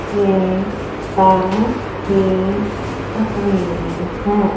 ये पैलेस की तस्वीर है।